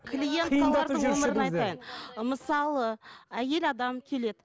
мысалы әйел адам келеді